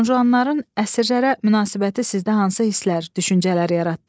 Juanjanların əsirlərə münasibəti sizdə hansı hisslər, düşüncələr yaratdı?